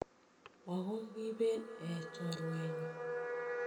Moo ko kiben eeh choruenyu.